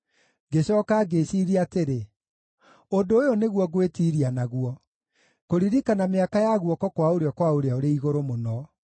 Ngĩcooka ngĩĩciiria atĩrĩ, “Ũndũ ũyũ nĩguo ngwĩtiiria naguo: kũririkana mĩaka ya guoko kwa ũrĩo kwa Ũrĩa-ũrĩ-Igũrũ-Mũno.”